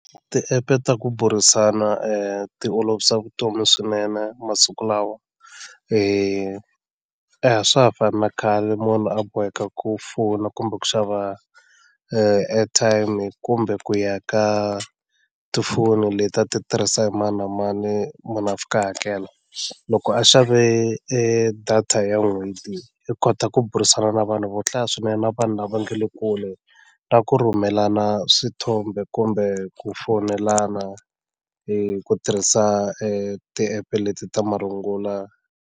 Tiepe ta ku burisana ti olovisa vutomi swinene masiku lawa a swa ha fani na khale munhu a boheka ku fona kumbe ku xava airtime kumbe ku ya ka tifoni leti a ti tirhisa hi mani na mani munhu a fika a hakela loko a xave e data ya n'hweti i kota ku burisana na vanhu vo hlaya swinene na vanhu lava nga le kule na ku rhumelana swithombe kumbe ku fonelana hi ku tirhisa tiepe leti ta marungula.